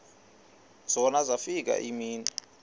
zona zafika iimini